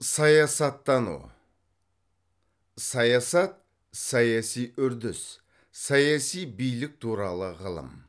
саясаттану саясат саяси үрдіс саяси билік туралы ғылым